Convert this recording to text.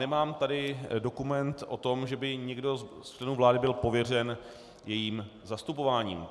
Nemám tady dokument o tom, že by někdo z členů vlády byl pověřen jejím zastupováním.